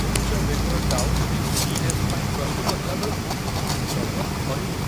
ଉଚ୍ଚ ବେଗର downhill ski race ପାଇଁ ପ୍ରସ୍ତୁତ ହେଲାବେଳକୁ ଜଗନ୍ ଥରିଲେ।